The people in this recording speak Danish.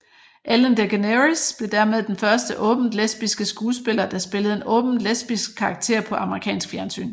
Ellen DeGeneres blev dermed den første åbent lesbiske skuespiller der spillede en åbent lesbisk karakter på amerikansk fjernsyn